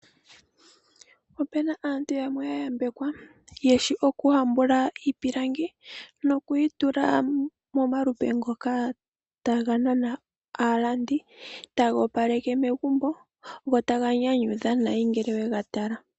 Opu na aantu yamwe yayambekwa, yeshi oku hambula iipilangi, noku yi yula momalupe ngoka taga nana aalandi, taga opaleke megumbo, go ta ga nyanyudha uuna we ga tala.